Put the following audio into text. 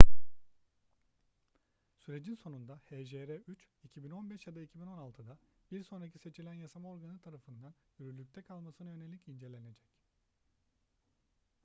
sürecin sonunda hjr-3 2015 ya da 2016'da bir sonraki seçilen yasama organı tarafından yürürlükte kalmasına yönelik incelenecek